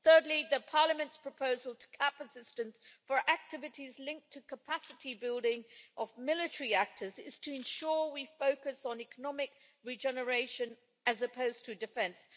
Thirdly, Parliament's proposal to cap assistance for activities linked to the capacity building of military actors seeks to ensure we focus on economic regeneration as opposed to defence.